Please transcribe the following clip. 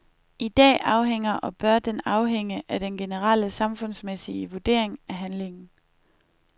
I dag afhænger og bør den afhænge af den generelle samfundsmæssige vurdering af handlingen.